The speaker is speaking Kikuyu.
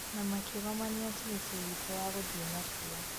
Na makĩgomania tigiti witũ na gũthiĩ na cio